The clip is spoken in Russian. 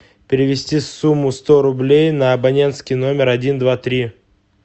перевести сумму сто рублей на абонентский номер один два три